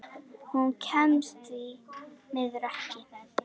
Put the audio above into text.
Hún kemst því miður ekki.